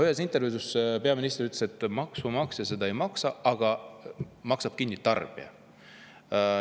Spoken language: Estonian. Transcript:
Ühes intervjuus ütles peaminister, et maksumaksja seda kinni ei maksa, selle maksab kinni tarbija.